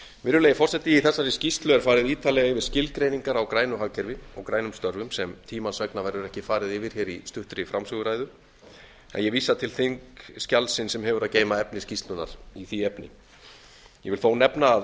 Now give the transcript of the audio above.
virðulegi forseti í þessari skýrslu er farið ítarlega yfir skilgreiningar á grænu hagkerfi og grænum störfum sem tímans vegna verður ekki farið yfir hér í stuttri framsöguræðu en ég vísa til þingskjalsins sem hefur að geyma efni skýrslunnar í því efni ég vil þó nefna að